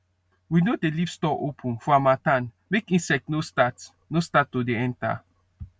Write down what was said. we no dey leave store open for harmattan make insect no start no start to dey enter